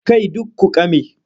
Kai duk ku ƙame!